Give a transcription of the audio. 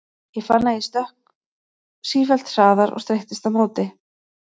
Ég fann að ég sökk sífellt hraðar og streittist á móti.